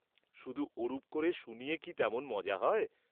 শুধু ওরূপ করে শুনিয়ে কি তেমন মজা হয়?